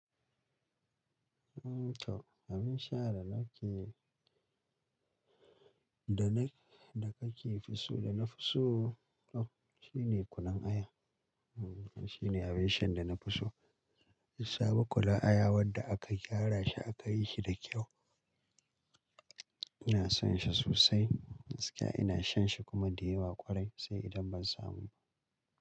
Im to abin sha da nake, da na, da kake so da na fi so shine kunun aya. Shine abin shan da na fi so. Sabon kunun aya wadda aka gyara shi aka yi shi da kyau. Ina son shi sosai gaskiya ina shan shi kuma da yawa kwarai sai idan ban samu ba.